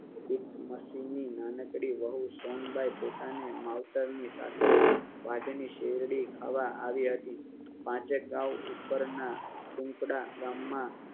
એકમ સિંહ ની નાનકડી વહુ સોનબાઈ પોતાને માવતર ના સાસરે વાઢ ની શેરડી ખાવા આવી હાઈ. પાંચેક ગાવ ઉપરના કૂપડા ગામમાં